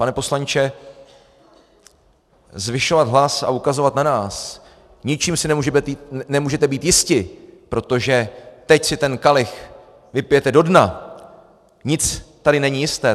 Pane poslanče, zvyšovat hlas a ukazovat na nás: ničím si nemůžete být jisti, protože teď si ten kalich vypijete do dna, nic tady není jisté.